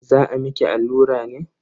Za a miki allura ne?